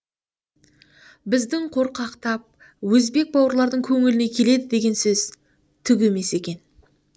біздің қорқақтап өзбек бауырлардың көңіліне келеді деген сөз түк емес екен